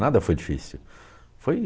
Nada foi difícil. Foi...